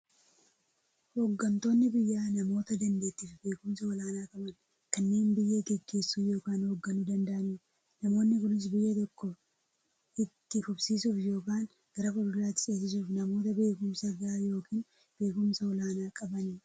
Hooggantoonni biyyaa namoota daanteettiifi beekumsa olaanaa qaban, kanneen biyya gaggeessuu yookiin hoogganuu danda'aniidha. Namoonni kunis, biyya tokko itti fufsiisuuf yookiin gara fuulduraatti ceesisuuf, namoota beekumsa gahaa yookiin beekumsa olaanaa qabaniidha.